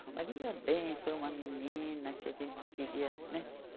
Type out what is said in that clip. Mas, ainda bem, foi uma menina que a gente queria, né?